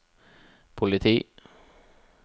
politi